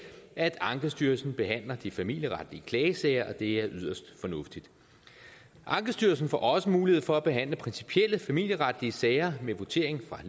at ankestyrelsen behandler de familieretlige klagesager og det er yderst fornuftigt ankestyrelsen får også mulighed for at behandle principielle familieretlige sager med votering fra